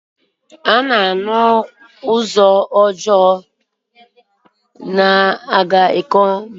Ụzọ ọjọọ na-aga ahịa akwụkwọ nri Ikom ka ana arụ ọrụ.